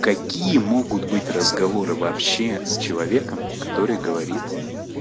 какие могут быть разговоры вообще с человеком который говорит